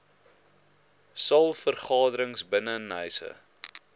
saal vergaderings binnenshuise